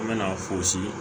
An bɛna fosi